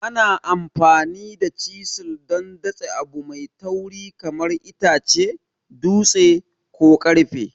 Ana amfani da chisil don datse abu mai tauri kamar itace, dutse, ko ƙarfe.